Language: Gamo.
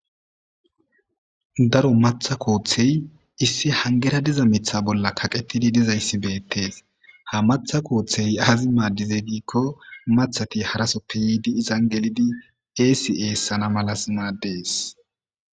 Daro matha koothey issi hangera diza mitha bolla kaqetidi dizayssi beettees ha matha kooththey aazi maaddizey diikko mathati harasoppe yiidi izan gelidi eesi eessana malas maaddees.